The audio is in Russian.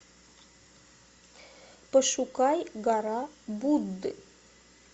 пошукай гора будды